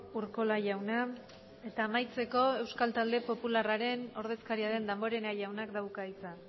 urkola jauna eta amaitzeko euskal talde popularraren ordezkaria den damborenea jaunak dauka hitza